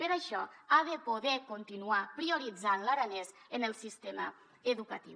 per això ha de poder continuar prioritzant l’aranès en el sistema educatiu